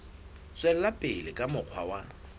tswela pele ka mokgwa wa